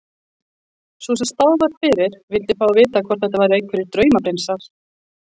Sú sem spáð var fyrir vildi þá vita hvort þetta væru einhverjir draumaprinsar.